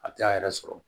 A t'a yɛrɛ sɔrɔ